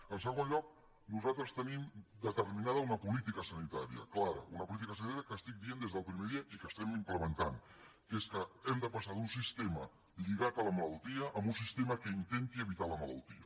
en segon lloc nosaltres tenim determinada una política sanitària clara una política sanitària que estic dient des del primer dia i que estem implementant que és que hem de passar d’un sistema lligat a la malaltia a un sistema que intenti evitar la malaltia